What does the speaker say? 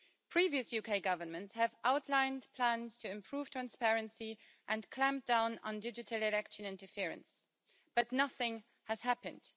Previous UK governments have outlined plans to improve transparency and clamp down on digital election interference, but nothing has happened.